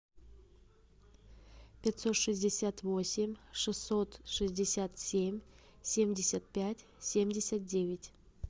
пятьсот шестьдесят восемь шестьсот шестьдесят семь семьдесят пять семьдесят девять